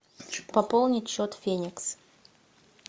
пополнить счет феникс